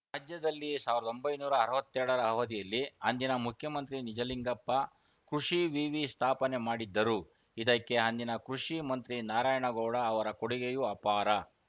ರಾಜ್ಯದಲ್ಲಿ ಸಾವಿರದೊಂಬೈನೂರ ಅರವತ್ತೆರಡರ ಅವಧಿಯಲ್ಲಿ ಅಂದಿನ ಮುಖ್ಯಮಂತ್ರಿ ನಿಜಲಿಂಗಪ್ಪ ಕೃಷಿ ವಿವಿ ಸ್ಥಾಪನೆ ಮಾಡಿದ್ದರು ಇದಕ್ಕೆ ಅಂದಿನ ಕೃಷಿ ಮಂತ್ರಿ ನಾರಾಯಣಗೌಡ ಅವರ ಕೊಡುಗೆಯೂ ಅಪಾರ